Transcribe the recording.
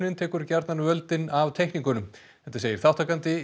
tekur gjarnan völdin af teikningunum þetta segir þátttakandi í